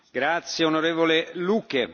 Herr Präsident, meine Damen und Herren!